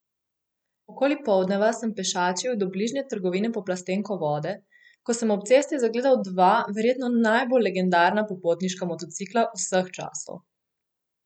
Okoli poldneva sem pešačil do bližnje trgovine po plastensko vode, ko sem ob cesti zagledal dva verjetno najbolj legendarna popotniška motocikla vseh časov!